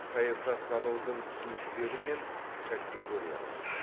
саясаттанудың түсініктері мен категориялары